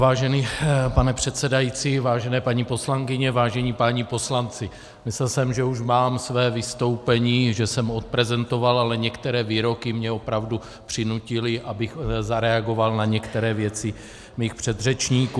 Vážený pane předsedající, vážené paní poslankyně, vážení páni poslanci, myslel jsem, že už mám své vystoupení, že jsem odprezentoval, ale některé výroky mě opravdu přinutily, abych zareagoval na některé věci svých předřečníků.